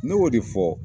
Ne y'o de fɔ